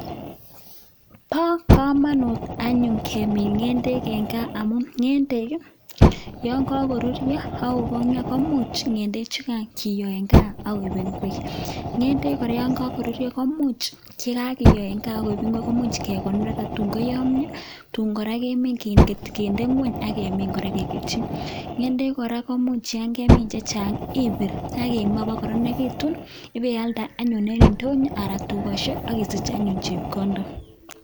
Bo komonutv anyun kemin ngendek eng gaa amu ngendek yokokoruryo akokongyo komuch ngendek chugai keiyo en gaa akechobe ngwek ngendek kora yo karuryo komuch chekakiyo eng gaa koek ngwek komuch kekonor tuun koyomio tun kora kemin kinde ngony akemin kora keketyi ngendek kora komuch yokemin chechang ibir akimaa kokoronekitun ibialde anyun eng ndonyo anan tugosiek akisich anyun chepkondok